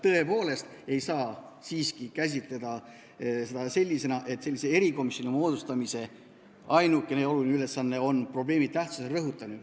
Tõepoolest ei saa seda siiski käsitleda selliselt, et sellise erikomisjoni moodustamisel on ainuke oluline ülesanne probleemi tähtsuse rõhutamine.